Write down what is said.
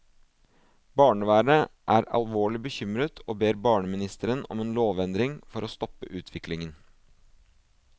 Barnevernet er alvorlig bekymret, og ber barneministeren om en lovendring for å stoppe utviklingen.